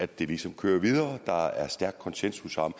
det ligesom kører videre ved der er stærk konsensus om